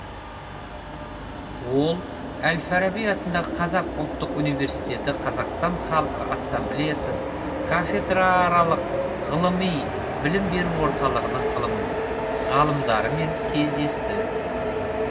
ол әл фараби атындағы қазақ ұлттық университеті қазақстан халқы ассамблеясы кафедрааралық ғылыми білім беру орталығының ғалымдарымен кездесті